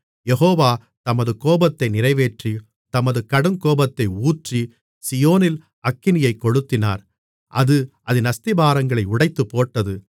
யெகோவா தமது கோபத்தை நிறைவேற்றி தமது கடுங்கோபத்தை ஊற்றி சீயோனில் அக்கினியைக் கொளுத்தினார் அது அதின் அஸ்திபாரங்களை உடைத்துப்போட்டது